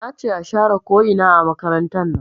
Nace a share ko ina a makarantar nan